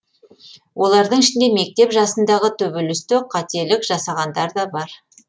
олардың ішінде мектеп жасындағы төбелесте қателік жасағандар да бар